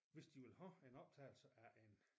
Hvis de vil have en optagelse af en